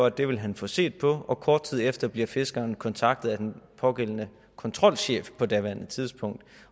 at det vil han få set på kort tid efter bliver fiskeren kontaktet af den pågældende kontrolchef på daværende tidspunkt